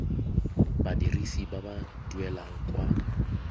badirisi ba ba duelang kwa